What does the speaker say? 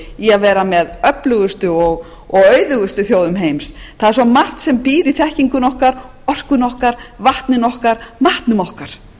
að vera með öflugustu og auðugustu þjóðum heims það er svo margt sem býr í þekkingunni okkar orkunni okkar vatninu okkar matnum okkar